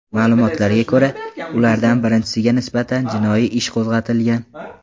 Ma’lumotlarga ko‘ra, ulardan birinchisiga nisbatan jinoyat ishi qo‘zg‘atilgan.